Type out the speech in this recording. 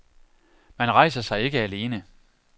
Man rejser sig ikke alene.